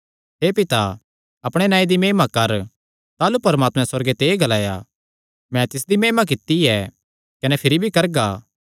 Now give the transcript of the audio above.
हे पिता अपणे नांऐ दी महिमा कर ताह़लू परमात्मैं सुअर्गे ते एह़ ग्लाया मैं तिसदी महिमा कित्ती ऐ कने भिरी भी करगा